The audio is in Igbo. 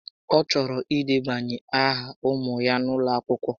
Ọ chọrọ idebanye áhà ụmụ ya n'ụlọakwụkwọ